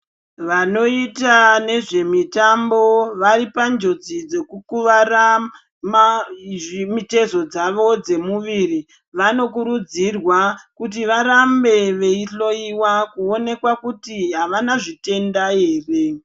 Vanoite nezvemitambo varipanjodzi dzekukuvara mitezo dzvo dzemumuiri ,vanokurudzirwa kuti varambe beyihloyiwa ,kuwonekwa kuti havana zvitenda here.